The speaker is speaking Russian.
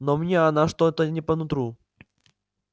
но мне она что-то не по нутру